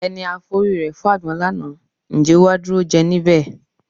Ẹni a forí rẹ fágbọn lánàá, ǹjẹ́ ó wá dúró jẹ níbẹ̀?